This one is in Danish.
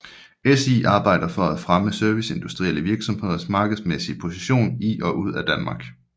SI arbejder for at fremme serviceindustrielle virksomheders markedsmæssige position i og ud af Danmark